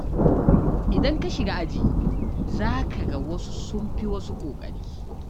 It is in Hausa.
Idan ka shiga aji, za ka ga wasu sun fi wasu ƙoƙari.